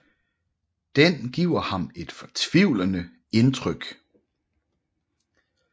Den giver ham et fortvivlende indtryk